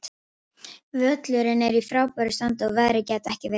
Völlurinn er í frábæru standi og veðrið gæti ekki verið betra.